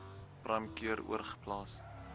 prime cure oorgeplaas